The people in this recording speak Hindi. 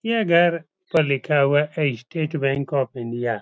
यह घर पर लिखा हुआ है स्टेट बैंक ऑफ़ इंडिया ।